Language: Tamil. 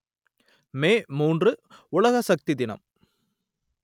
மே மூன்று உலக சக்தி தினம்